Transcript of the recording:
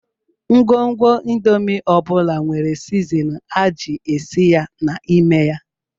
Ngwugwu indomin ọ bụla nwere sizinin a ji esi ya n'ime ya